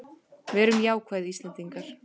Verum jákvæð Íslendingar!